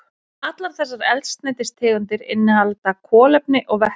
Allar þessar eldsneytistegundir innihalda kolefni og vetni.